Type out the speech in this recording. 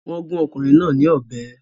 Wọn gun ọkùnrin náà ní ọbẹ